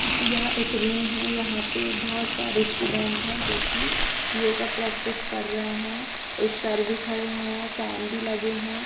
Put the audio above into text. यह एक रूम है। यहाँ पे बहुत सारे स्टूडेंट है जो कि योगा प्रैक्टिस कर रहे है एक सर भी खड़े हुए है फैन भी लगे हुए है।